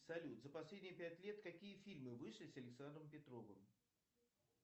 салют за последние пять лет какие фильмы вышли с александром петровым